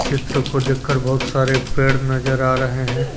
चित्र को देखकर बहुत सारे पेड़ नजर आ रहे हैं।